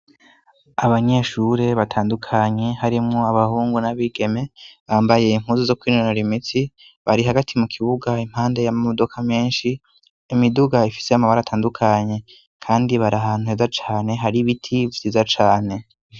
Abanyeshure batandukanye harimwo abahungu n'abigeme bambaye impuzu zo kwinonora imitsi, bari hagati mu kibuga impande y'amodoka menshi. Imiduga ifise amabara atandukanye kandi bari ahantu heza cane hari ibiti vyiza cane.